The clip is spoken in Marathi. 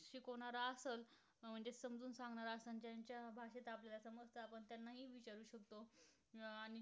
आणि